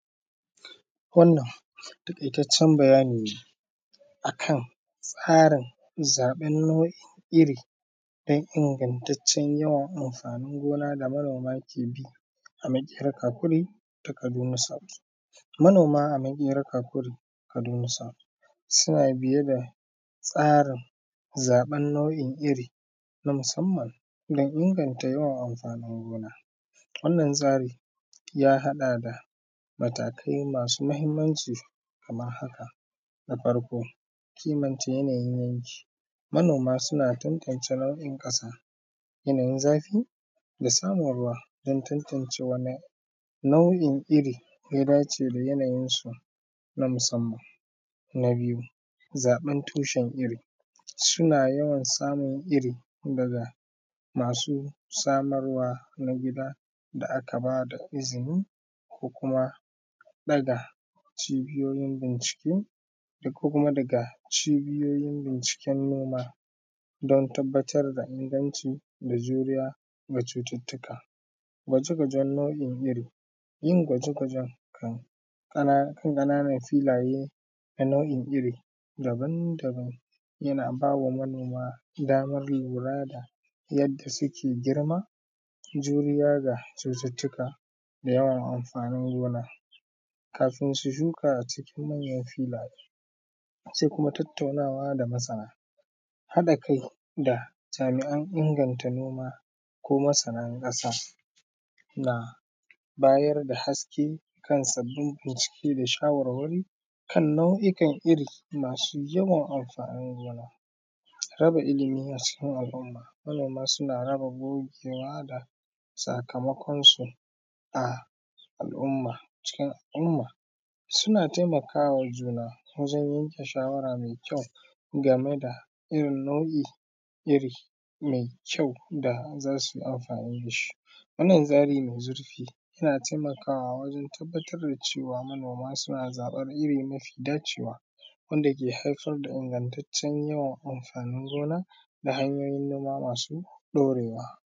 Wannan taƙaitaccen bayani ne akan tsarin zaɓin nau’in iri don ingantaccen yawan amfanin gona da manoma ke bi a Maƙera Kakuri, ta Kaduna South. Manoma a maƙera kakuri, Kaduna South suna biye da tsarin zaɓen nau’in iri na musamman don inganta yawan amfanin gona. Wannan tsarin ya haɗa da matakai masu muhimmanci kamar haka, na farko, kimanta yanayin yanki, manoma suna tantance nau’in ƙasa, yanayin zafi da samun ruwa don antance wani nau’in iri ya dace da yanayin su na musamman. Na biyu, zaɓen tushen iri, suna yawan samun iri daga masu samarwa na gida da aka bada izini ko kuma ɗaga cibiyoyin bincike ko kuma daga cibiyoyin bincike na noma don tabbatar da inganci da juriya ga cututtuka. Gwaje-gwajen nau’in iri, yin gwaje-gwajen kan ƙananan filaye na nau’in iri daban-daban yana bawa manoma damar lura da yadda suke girma, juriya ga cututtuka da yawan amfanin gona, kafin su shuka cikin manyan filaye. Sai kuma tattaunawa da masana, haɗa kai da jami’an inganta noma ko masanan ƙasa na bayar da haske kan sabbin bincike da shawarwari kan nau’ikan iri masu yawan amfanin gona. Raba ilmi acikin al’umma, manoma suna raba gogewa da sakamakon su a al’umma cikin al’umma, suna taimakawa juna wajen yanke shawara mai kyau game da irin nau’in iri mai kyau da zasuyi amfani dashi. Wannan zaɓi mai zurfi yana taimakawa wajen cewa manoma suna zaɓan iri mafi dacewa, wanda ke haifar da ingantaccen yawan amfanin gona da hanyoyin noma masu ɗorewa.